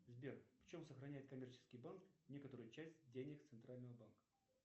сбер в чем сохраняет коммерческий банк некоторую часть денег центрального банка